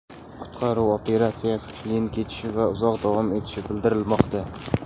Qutqaruv operatsiyasi qiyin kechishi va uzoq davom etishi bildirilmoqda.